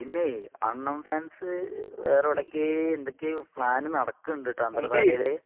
പിന്നെ അണ്ണൻ ഫാൻസ് വേറെ എടകയോ എന്തൊകയോ പ്ലാന് നടക്കുന്നുണ്ട് ട്ടൊ